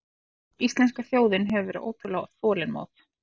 Íslenska þjóðin hefur verið ótrúlega þolinmóð